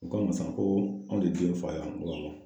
U k'anw ma sisan, ko anw de ye den fa ye wa? N ko awɔ.